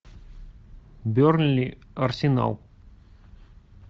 бернли арсенал